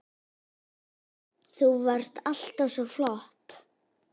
Þú varst alltaf svo flott.